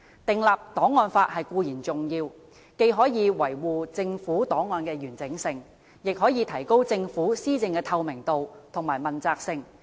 訂立檔案法固然重要，既可維護政府檔案的完整性，也可提高政府施政的透明度和問責性。